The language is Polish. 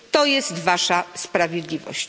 To jest wasza sprawiedliwość!